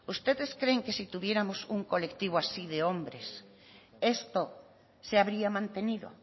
ustedes creen que si tuviéramos un colectivo así de hombres esto se habría mantenido